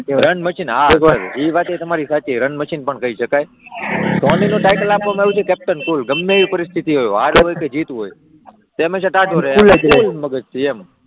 Run machine, હા એ વાત પણ તમારી સાચી રન મશીન પણ કહી શકાય. ધોનીને ટાઇટલ આપવામાં આવ્યું છે, કેપ્ટન કૂલ ગમે એ પરિસ્થિતી હોય હાર હોય કે જીત હોય તે હંમેશા ટાઢો રહે, કૂલ જ મગજ હોય એમ,